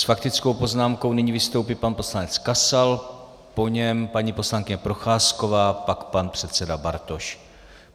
S faktickou poznámkou nyní vystoupí pan poslanec Kasal, po něm paní poslankyně Procházková, pak pan předseda Bartoš.